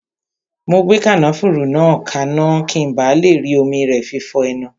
Mo gbé kànáfùrú kaná, ki n ba le rí omi rẹ fi fọ ẹnu